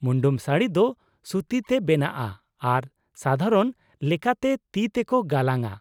ᱢᱩᱱᱰᱩᱢ ᱥᱟᱹᱲᱤ ᱫᱚ ᱥᱩᱛᱤ ᱛᱮ ᱵᱮᱱᱟᱜᱼᱟ ᱟᱨ ᱥᱟᱫᱷᱟᱨᱚᱱ ᱞᱮᱠᱟᱛᱮ ᱛᱤ ᱛᱮᱠᱚ ᱜᱟᱞᱟᱝᱼᱟ ᱾